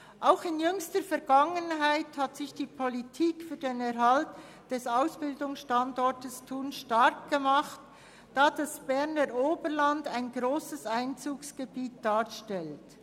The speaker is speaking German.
Auch in jüngster Vergangenheit hat sich die Politik für den Erhalt des Ausbildungsstandorts Thun stark gemacht, da das Berner Oberland ein grosses Einzugsgebiet darstellt.